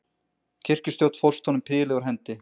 Kirkjustjórn fórst honum prýðilega úr hendi.